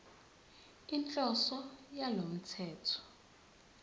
inhloso yalo mthetho